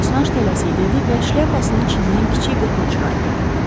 Bosaş tələsiyi dedi və şlyapasının içindən kiçik qutunu çıxartdı.